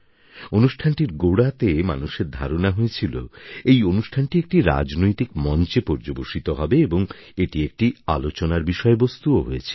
অনুষ্ঠানটির গোড়াতে মানুষের ধারণা হয়েছিল এই অনুষ্ঠানটি একটি রাজনৈতিক মঞ্চে পর্যবসিত হবে এবং এটি একটি আলোচনার বিষয়বস্তুও হয়েছিল